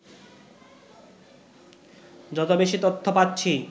যত বেশি তথ্য পাচ্ছি